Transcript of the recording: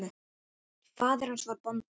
Faðir hans var bóndi.